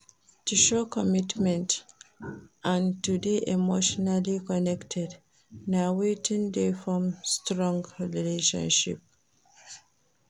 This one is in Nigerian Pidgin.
To show commitment and to de emotionally connected na wetin de form strong relationship